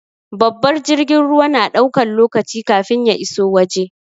Babbar jirgin ruwa na ɗaukan lokaci kafin ya iso waje.